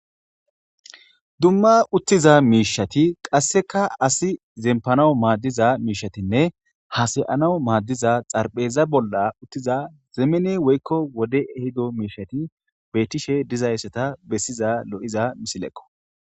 dumma uttiza miishati qasseka asi zempanaw maaddiza miishatinne hasa'enaw maaddiza xarpheza bolla uttiza zeemene woykko wode ehido miishati beettishe dizaysseta bessiza lo'iza misilekqo